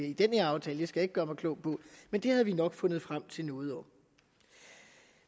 i den her aftale skal jeg ikke gøre mig klog på men vi havde nok fundet frem til noget